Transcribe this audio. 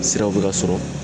Siraw bɛ ka sɔrɔ.